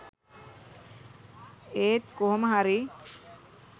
ඒත් කොහොම හරි